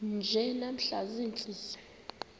nje namhla ziintsizi